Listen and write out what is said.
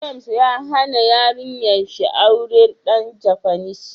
James ya Haba yarinyan shi auren dan Japanese.